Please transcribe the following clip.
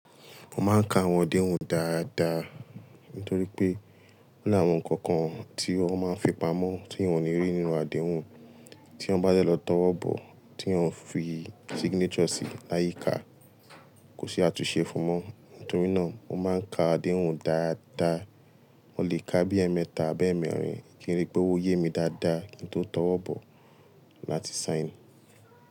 Mo máa ń ka àwọn àdéhùn dáadáa, nítorí pé ó ní àwọn nǹkan kan tí wọ́n máa ń fipamọ́ tí ìwọ ni rí nínú àdéhùn, tí wọ́n bá jẹ lọ tawọ́ bọ̀ tí ò ń fi signature sí láyìí ká, kò sí àtúnṣe fún mọ́. Nítorí náà mo máa ń ka àdéhùn dáadáa, mo lè ka bí ẹẹ́mẹta abẹ́ẹ̀mẹ́rin kí n rí pé ó yé mi dáadáa kí n tó tawọ́ bọ̀ láti sign.